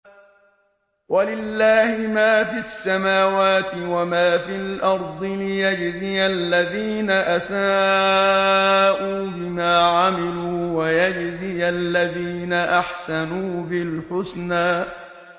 وَلِلَّهِ مَا فِي السَّمَاوَاتِ وَمَا فِي الْأَرْضِ لِيَجْزِيَ الَّذِينَ أَسَاءُوا بِمَا عَمِلُوا وَيَجْزِيَ الَّذِينَ أَحْسَنُوا بِالْحُسْنَى